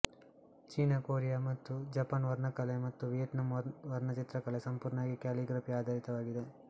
China Korea ಮತ್ತು Japan ವರ್ಣಕಲೆ ಮತ್ತು ವಿಯೆಟ್ನಾಂ ವರ್ಣಚಿತ್ರಕಲೆ ಸಂಪೂರ್ಣವಾಗಿ ಕ್ಯಾಲಿಗ್ರಫಿ ಆಧಾರಿತವಾಗಿದೆ